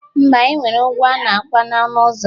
Mba, enwere ụgwọ ana akwa na ọnụ ụzọ